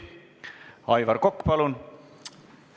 Aivar Kokk, palun!